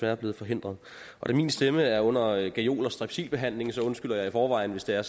er blevet forhindret og da min stemme er under gajol og strepsilbehandling undskylder jeg i forvejen hvis det er